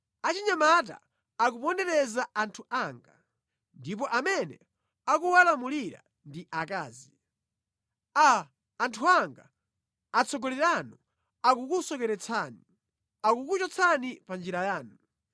Achinyamata akupondereza anthu anga, ndipo amene akuwalamulira ndi akazi. Aa, anthu anga, atsogoleri anu akukusocheretsani; akukuchotsani pa njira yanu.